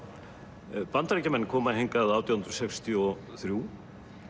Bandaríkjamenn koma hingað átján hundruð sextíu og þrjú